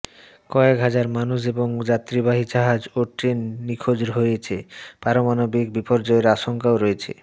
কয়েক হাজার মানুষ এবং যাত্রীবাহী জাহাজ ও ট্রেন নিখোঁজ রয়েছে পারমাণবিক বিপর্যয়ের আশঙ্কাও রয়েছে